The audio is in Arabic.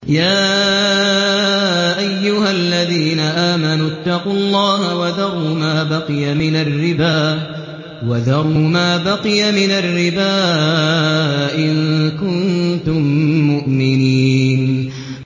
يَا أَيُّهَا الَّذِينَ آمَنُوا اتَّقُوا اللَّهَ وَذَرُوا مَا بَقِيَ مِنَ الرِّبَا إِن كُنتُم مُّؤْمِنِينَ